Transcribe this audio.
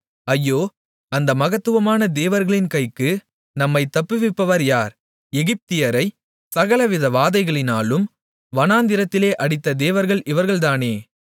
ஐயோ அந்த மகத்துவமான தேவர்களின் கைக்கு நம்மைத் தப்புவிப்பவர் யார் எகிப்தியரைச் சகலவித வாதைகளினாலும் வனாந்திரத்திலே அடித்த தேவர்கள் இவர்கள்தானே